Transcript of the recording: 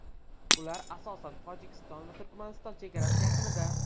Ular asosan Tojikiston va Turkmaniston chegarasi yaqinida.